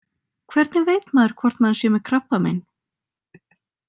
Hvernig veit maður hvort maður sé með krabbamein?